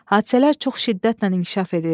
Hadisələr çox şiddətlə inkişaf edirdi.